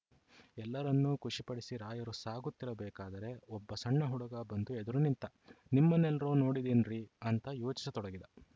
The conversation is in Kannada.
ಎಲ್ಲರನ್ನೂ ಖುಷಿಪಡಿಸಿ ರಾಯರು ಸಾಗುತ್ತಿರಬೇಕಾದರೆ ಒಬ್ಬ ಸಣ್ಣ ಹುಡುಗ ಬಂದು ಎದುರು ನಿಂತ ನಿಮ್ಮನ್ನೆಲ್ರೋ ನೋಡಿದ್ದೀನ್ರೀ ಅಂತ ಯೋಚಿಸತೊಡಗಿದ